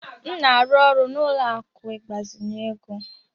M na-arụ ọrụ na ụlọ akụ ịgbazinye ego.